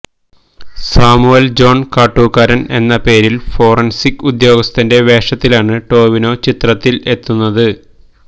Samuel John Kattookkaran എന്ന പേരില് forensic ഉദ്യോഗസ്ഥന്റെ വേഷത്തിലാണ് ടൊവിനോ ചിത്രത്തിലെത്തുന്നത്